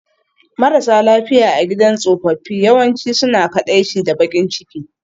Marasa lafiya a gidan tsofaffi yawanci suna kaɗaici da baƙin ciki